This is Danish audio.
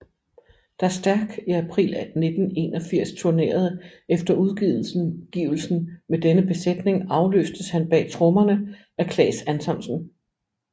Da Stærk i april 1981 turnerede efter udgivelsen med denne besætning afløstes han bag trommerne af Claes Antonsen